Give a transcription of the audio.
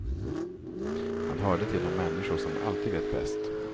Han hörde till de människor som alltid vet bäst.